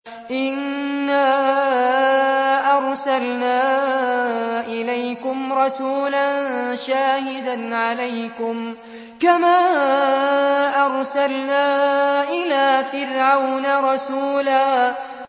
إِنَّا أَرْسَلْنَا إِلَيْكُمْ رَسُولًا شَاهِدًا عَلَيْكُمْ كَمَا أَرْسَلْنَا إِلَىٰ فِرْعَوْنَ رَسُولًا